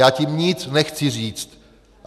Já tím nic nechci říct.